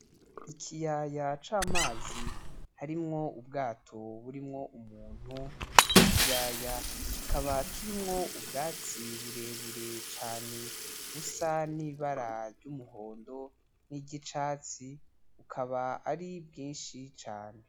Ikiyaya c'amazi harimwo ubwato burimwo umuntu , ico kiyaya kikaba kirimwo ubwatsi burebure cane busa n'ibara ry'umuhondo niry'icatsi, bukaba ari bwinshi cane.